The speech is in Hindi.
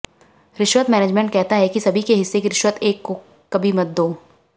रिश्वत मैनेजमेंट कहता है कि सभी के हिस्से की रिश्वत एक को कभी मत दो